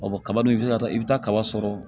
kaba dun i bi se ka taa i bɛ taa kaba sɔrɔ